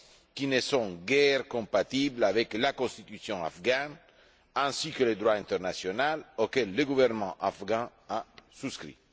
qui ne sont guère compatibles avec la constitution afghane ainsi que le droit international auquel le gouvernement afghan a souscrit.